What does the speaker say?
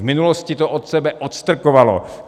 V minulosti to od sebe odstrkovalo.